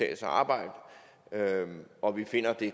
at arbejde og vi finder at det